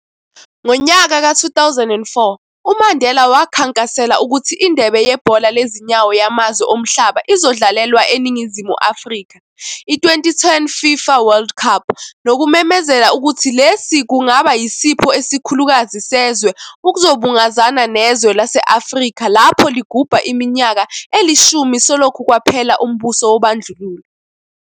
Ngonyaka ka 2004, uMandela wakhankasela ukuthi indebe yebhola lezinyawo yamazwe omhlaba izodlalelwa eNingizimu Afrika, i-2010 FIFA World Cup, nokumemezela ukuthi lesi kungaba yisipho esikhulukazi sezwe, ukuzobungazana nezwe lase-Afrika lapho ligubha iminyaka elishumi selokhu kwaphela umbuso wobandlululo.